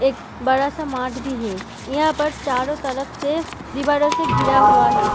एक बड़ा सा मार्ट भी है यहाँ पर चारों तरफ से दीवारों से घिरा हुआ है।